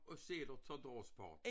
Og sæler tager da også bort